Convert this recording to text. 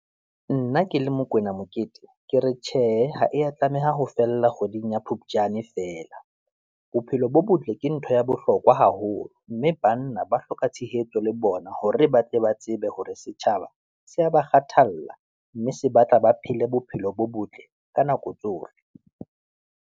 Nna ke le Mokwena Mokete ke re tjhe, ha ya tlameha ho fella kgweding ya Phupjane feela. Bophelo bo botle ke ntho ya bohlokwa haholo, mme banna ba hloka tshehetso le bona hore ba tle ba tsebe hore setjhaba se ya ba kgathalla. Mme se batla ba phele bophelo bo botle ka nako tsohle.